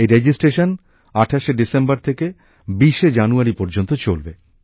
এই রেজিস্ট্রেশন ২৮ শে ডিসেম্বর থেকে ২০ শে জানুয়ারী পর্যন্ত চলবে